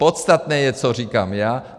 Podstatné je, co říkám já.